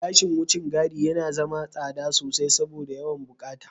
Gashin wucin gadi yana zama tsada sosai saboda yawan buƙatu.